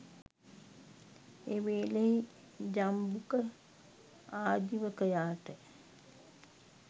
එවේලෙහි Jambuka ආජිවකයාට